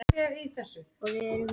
Við sjáum merki um aukna einkaneyslu